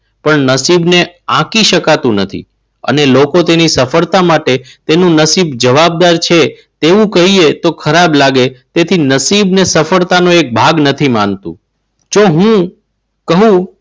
પણ નસીબને આખી શકાતું નથી. અને લોકો તેની સફળતા માટે તેમનું નસીબ જવાબદાર છે તેવું કહીએ તો ખરાબ લાગે તેથી નસીબને સફળતાનું એક ભાગ નથી માનતો. જો હું કહું.